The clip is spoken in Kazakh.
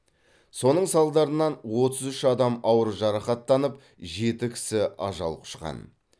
соның салдарынан отыз үш адам ауыр жарақаттанып жеті кісі ажал құшқан